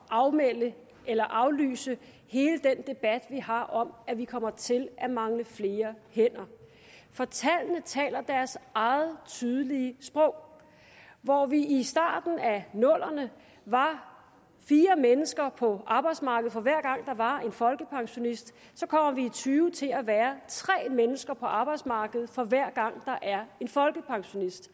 afmelde eller aflyse hele den debat vi har om at vi kommer til at mange flere hænder for tallene taler deres eget tydelige sprog hvor vi i starten af nullerne var fire mennesker på arbejdsmarkedet for hver gang der var en folkepensionist så kommer vi i og tyve til at være tre mennesker på arbejdsmarkedet for hver gang der er en folkepensionist